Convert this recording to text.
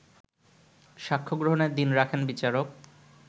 সাক্ষ্যগ্রহণের দিন রাখেন বিচারক